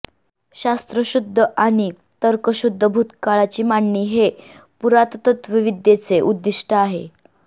शास्त्रशुद्ध आणि तर्कशुद्ध भूतकाळाची मांडणी हे पुरातत्त्वविद्येचे उद्दिष्ट आहे